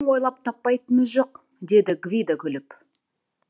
ойлап таппайтыны жоқ деді гвидо күліп